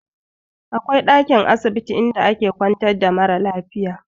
Akwai dankin asibiti inda ake ƙwantar da mara lafiya.